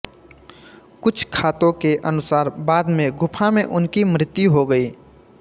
कुछ खातों के अनुसार बाद में गुफा में उनकी मृत्यु हो गई